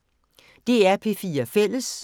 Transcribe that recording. DR P4 Fælles